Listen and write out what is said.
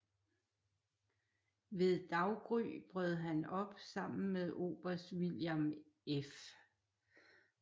Ved daggry brød han op sammen med oberst William F